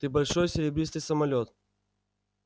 ты большой серебристый самолёт